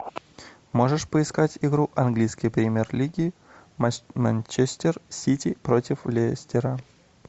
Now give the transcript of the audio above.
можешь поискать игру английской премьер лиги манчестер сити против лестера